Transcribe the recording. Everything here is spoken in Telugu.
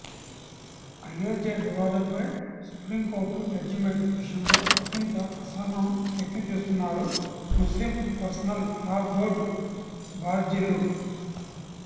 అయోధ్య వివాదం పై సుప్రీంకోర్టు జడ్జిమెంట్ విషయంలో ఒకింత అసహనం వ్యక్తం చేస్తున్నారు ముస్లిం పర్సనల్ లా బోర్డు బాధ్యులు